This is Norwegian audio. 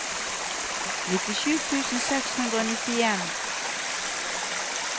nittisju tusen seks hundre og nittien